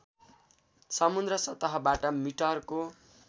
समुद्र सतहबाट मिटरको